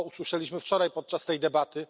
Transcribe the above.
A co usłyszeliśmy wczoraj podczas tej debaty?